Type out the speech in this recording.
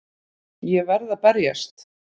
Ég verð að berjast.